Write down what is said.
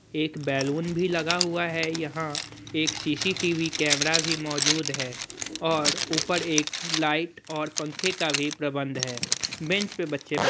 एक बैलून भी लगा हुआ है यहां एक सी_सी_टी_वी कैमरा भी मौजूद है और ऊपर एक लाइट और पंखे का भी प्रबंध है बेंच पर बच्चे बैठ--